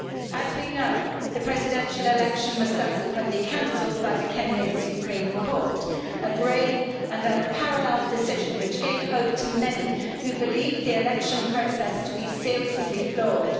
As we know, the presidential election was subsequently cancelled by the Kenyan Supreme Court, a brave and unparalleled decision which gave hope to many who believed the election process to be seriously flawed.